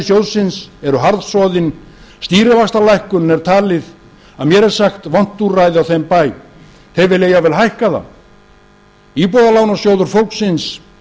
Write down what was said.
sjóðsins eru harðsoðin stýrivaxtalækkun er talið að mér sagt vont úrræði á þeim bæ þeir vilja jafnvel hækka það íbúðalánasjóður fólksins